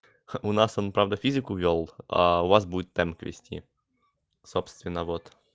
у нас он правда физику вёл а у вас будет темп вести собственно вот